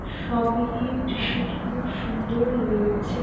সব মিলিয়ে দৃশ্যটি খুব সুন্দর হয়ে উঠছে |